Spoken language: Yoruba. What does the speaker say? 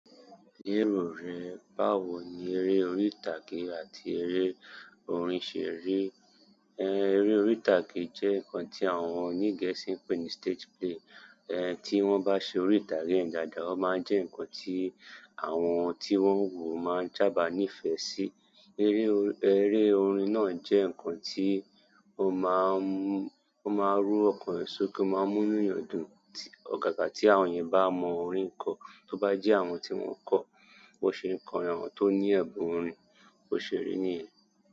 Lérò rẹ̀, báwo ni eré orí ìtàgé àti eré orin ṣe rí? Eré orí ìtàgé jẹ́ nǹkan tí àwọn oní Gẹ̀ẹ́sì ń pè ní stage play. Tí wọ́n bá ṣe orí ìtàgé un dáadáa, ó máa ń jẹ́ nǹkan tí àwọn tí wọ́n ń wòó máa ń sábà nífẹ̀ẹ́ sí. Eré orin náà jẹ́ nǹkan tí ó máa ń mú, ó máa ń rú ọkàn yàn sókè, ó máa ń múnú yàn dùn. Ọ̀gàgà tí àwọn yẹn bá mọ orín kọ, tó bá jẹ́ àwọn tí wọ́n kọ, bó ṣe ń kọrin àwọn tó ní ẹ̀bùn orin, bó ṣe rí nìyẹn.